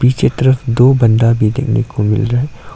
इसी तरफ दो बंदा भी देखने को मिल रहे--